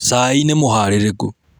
Cai nĩmũharĩrĩku.